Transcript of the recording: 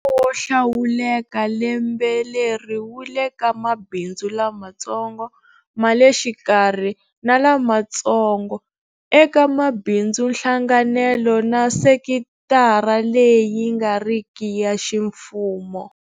Wo hlawuleka lembe leri wu le ka mabindzu lamatsongo, ma le xikarhi na lamatsongotsongo, eka mabindzunhlanganelo na sekitara leyi nga riki ya ximfumo.